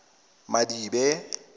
madibe